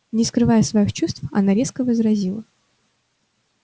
не скрывая своих чувств она резко возразила